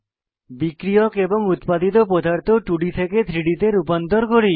বিক্রিয়ক এবং উত্পাদিত পদার্থ 2ডি থেকে 3ডি তে রূপান্তর করি